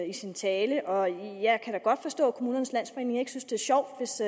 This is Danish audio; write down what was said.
i sin tale og jeg kan da godt forstå at kommunernes landsforening ikke synes det er sjovt hvis